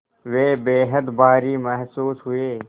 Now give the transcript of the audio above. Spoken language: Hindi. वे बेहद भारी महसूस हुए